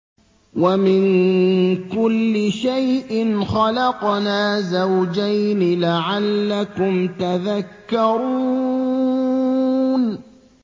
وَمِن كُلِّ شَيْءٍ خَلَقْنَا زَوْجَيْنِ لَعَلَّكُمْ تَذَكَّرُونَ